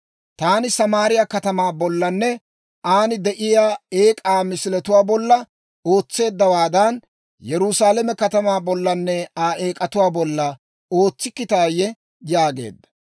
Taani Samaariyaa katamaa bollanne aan de'iyaa eek'aa misiletuwaa bolla ootseeddawaadan, Yerusaalame katamaa bollanne Aa eek'atuwaa bolla ootsikkitaayye?» yaageedda.